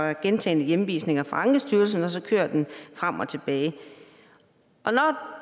er gentagne hjemvisninger fra ankestyrelsen og så kører det frem og tilbage når